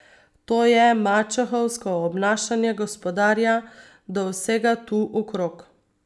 To je mačehovsko obnašanje gospodarja do vsega tu okrog.